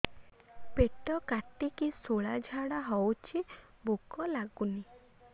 ପେଟ କାଟିକି ଶୂଳା ଝାଡ଼ା ହଉଚି ଭୁକ ଲାଗୁନି